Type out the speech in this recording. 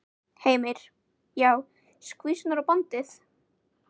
Heimir: Já, skvísurnar og bandið?